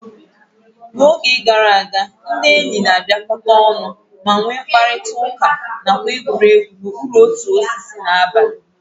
Na oge gara aga, ndị enyi na-abịakọta ọnụ ma nwee mkparịta ụka nakwa egwuregwu n'okpuru otu osisi n'abalị.